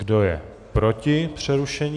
Kdo je proti přerušení?